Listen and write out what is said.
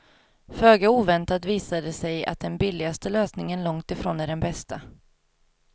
Föga oväntat visar det sig att den billigaste lösningen långt ifrån är den bästa.